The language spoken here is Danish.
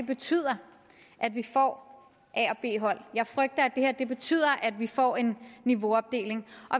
betyder at vi får a og b hold jeg frygter at det her betyder at vi får en niveauopdeling